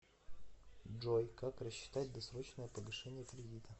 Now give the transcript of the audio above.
джой как рассчитать досрочное погашение кредита